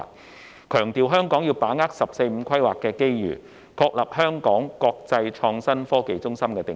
他強調香港要把握"十四五"規劃的機遇，確立香港國際創新科技中心的定位。